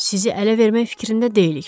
Sizi ələ vermək fikrində deyilik.